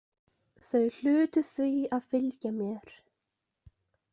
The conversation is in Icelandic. Þau hlutu því að fylgja mér.